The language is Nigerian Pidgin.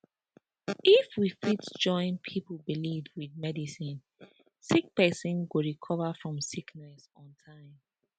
if we fit join pipo belief with medicine sick pesin go recover from sickness on time